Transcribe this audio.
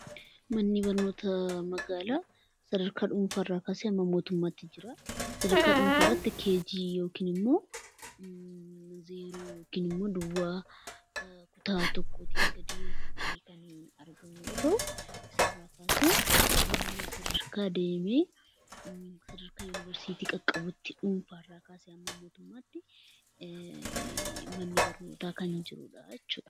Manni barnootaa magaalaa sadarkaa dhuunfaa irraa kaasee haga mootummaatti jira. Sadarkaa gadiitti KG yookiin kutaa tokkoo gadi yoo ta'u, sadarkaa dhuunfaa irraa kaasee haga yuunivarsiitii qaqqabutti manni barnootaa kan jirudha.